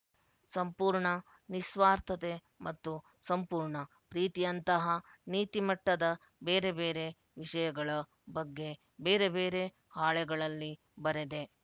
ಸಂಪೂರ್ಣ ನಿಸ್ವಾರ್ಥತೆ ಮತ್ತು ಸಂಪೂರ್ಣ ಪ್ರೀತಿಯಂತಹ ನೀತಿ ಮಟ್ಟದ ಬೇರೆ ಬೇರೆ ವಿಷಯಗಳ ಬಗ್ಗೆ ಬೇರೆ ಬೇರೆ ಹಾಳೆಗಳಲ್ಲಿ ಬರೆದೆ